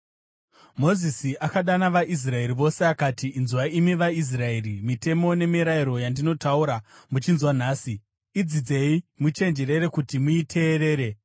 Mozisi akadana vaIsraeri vose, akati: Inzwai imi vaIsraeri, mitemo nemirayiro yandinotaura muchinzwa nhasi. Idzidzei muchenjerere kuti muiteerere